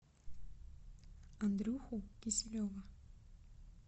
андрюху киселева